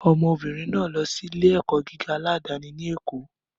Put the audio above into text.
Ọmọbìnrin náà lọ sí ilé-ẹ̀kọ́ gíga aládàáni ní Èkó